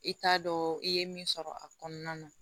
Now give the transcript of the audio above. I t'a dɔn i ye min sɔrɔ a kɔnɔna na